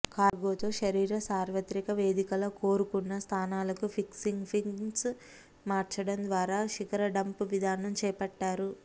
cargo తో శరీర సార్వత్రిక వేదికల కోరుకున్న స్థానాలకు ఫిక్సింగ్ పిన్స్ మార్చడం ద్వారా శిఖర డంప్ విధానం చేపట్టారు